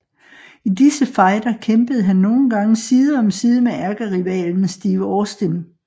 I disse fejder kæmpede han nogle gang side om side med ærkerivalen Steve Austin